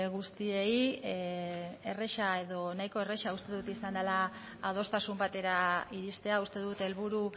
guztiei erreza edo nahiko erraza uste dut izan dela adostasun batera iristea uste dut helburu